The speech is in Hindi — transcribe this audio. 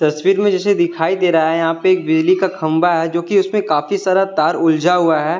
तस्वीर में जैसे दिखाई दे रहा है यहां पे एक बिजली का खंबा है जोकि उसमें काफी सारा तार उलझा हुआ है।